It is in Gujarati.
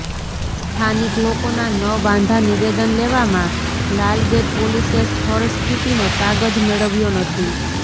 સ્થાનિક લોકોના ન વાંધા નિવેદન લેવામાં લાલગેટ પોલીસે સ્થળ સ્થિતિનો તાગ જ મેળવ્યો નથી